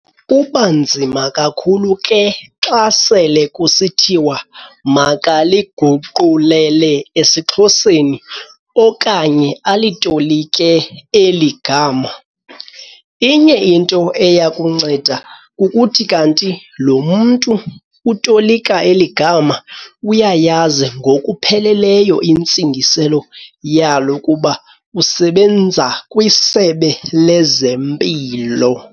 Kuba nzima kakhulu ke xa sele kusithiwa makaliguqulele esiXhoseni okanye alitolike eli gama. Inye into eyakunceda kukuthi kanti lo mntu utolika eli gama uyayazi ngokupheleleyo intsingiselo yalo kuba usebenza kwisebe lezempilo.